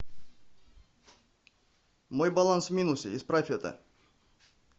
мой баланс в минусе исправь это